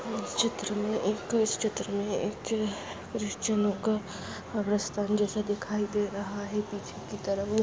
इस चित्र में एक इस चित्र में एक ख्रिश्चनो का कब्रिस्तान जैसा दिखाई दे रहा है पीछे की तरफ--